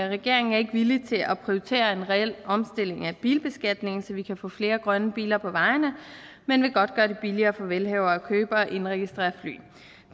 regeringen er ikke villig til at prioritere en reel omstilling af bilbeskatningen så vi kan få flere grønne biler på vejene men vil godt gøre det billigere for velhavere at købe og indregistrere fly